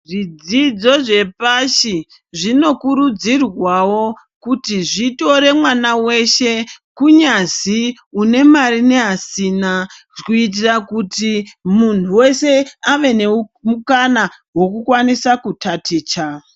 Zvidzidzo zvepashi zvinokurudzirwawo kuti zvitore mwana weshe, kunyazi unemari neasina kuitira kuti muntu weshe avenemukana wokukwanisa kutaticha.